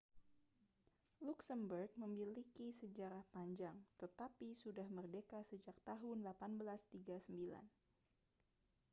luksemburg memiliki sejarah panjang tetapi sudah merdeka sejak tahun 1839